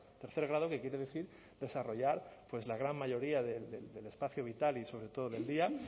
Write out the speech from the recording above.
tercer grado que quiere decir desarrollar pues la gran mayoría del espacio vital y sobre todo del día